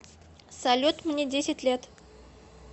салют мне десять лет